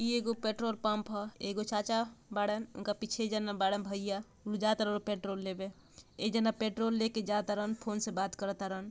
ई एगो petrol pump ह। एगो चाचा बाड़े उनके पीछे एक जाना बाड़े भैया उ जातरलो पेट्रोल लेबे। एक जाना पेट्रोल लेके जातरन फोन से बात करर्रन ।